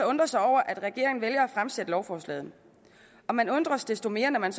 undre sig over at regeringen vælger at fremsætte lovforslaget og man undres desto mere når man